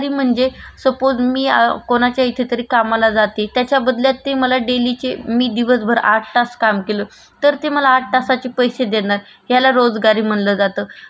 तर ते मला आठ तासाचे पैसे देणार याला रोजगारी म्हणल्या जात. रोजगारीत सुद्धा एक श्रमाचा प्रकार आहे आपण बगतो कामगाराव कामगार जे कि धुनी भांडी करणारी बाई